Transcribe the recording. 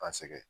An sɛgɛn